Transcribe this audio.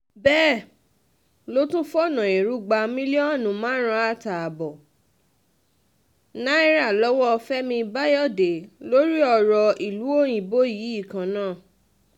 bẹ́ẹ̀ ló tún fọ̀nà ẹrú gba mílíọ̀nù márùn-ún àtààbọ̀ náírà lọ́wọ́ fẹmi bayọdẹ lórí ọ̀rọ̀ ìlú òyìnbó yìí kan náà